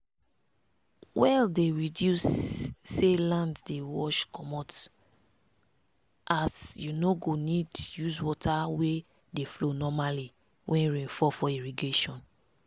well dey reduce say land dey wash comot as you no go need use water wey dey flow normally when rain fall for irrigation.